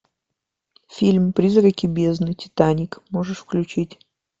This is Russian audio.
фильм призраки бездны титаник можешь включить